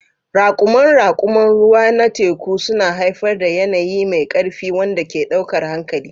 Raƙuman raƙuman ruwa na teku suna haifar da yanayi mai ƙarfi wanda ke ɗaukar hankali.